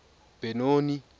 benoni